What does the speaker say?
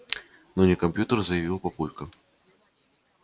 но не компьютер заявил папулька